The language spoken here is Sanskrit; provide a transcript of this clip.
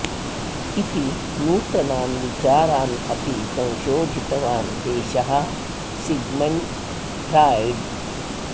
इति नूतनान् विचारान् अपि संशोधितवान् एषः सिग्मण्ड् फ्राय्ड्